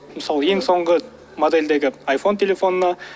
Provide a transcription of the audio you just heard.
мысалы ең соңғы модельдегі айфон телефонына